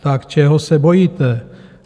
Tak čeho se bojíte?